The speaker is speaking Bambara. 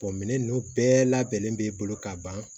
minɛn ninnu bɛɛ labɛnnen b'e bolo ka ban